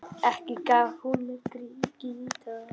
Ekki gaf hún mér gítar.